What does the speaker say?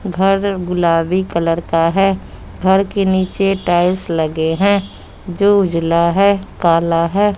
घर गुलाबी कलर का है घर के नीचे टाइल्स लगे हैं जो उजला हैं काला है।